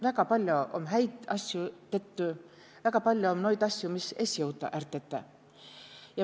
Väga paljo om häid asju tettü, väga paljo om noid asju, mis es jõuta är tetä.